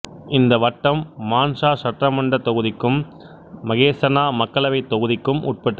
இந்த வட்டம் மாண்சா சட்டமன்றத் தொகுதிக்கும் மகேசனா மக்களவைத் தொகுதிக்கும் உட்பட்டது